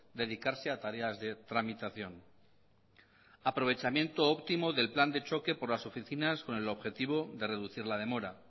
dedicarse a tareas de tramitación aprovechamiento óptimo del plan de choque por las oficinas con el objetivo de reducir la demora